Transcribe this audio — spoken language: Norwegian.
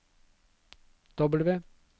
W